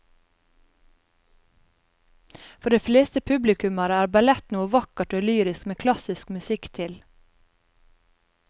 For de fleste publikummere er ballett noe vakkert og lyrisk med klassisk musikk til.